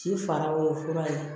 Ci fara o ye fura ye